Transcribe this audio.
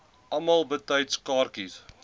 almal betyds kaartjies